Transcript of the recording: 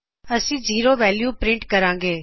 ਅੱਸੀ zero value print ਕਰਾਗੇ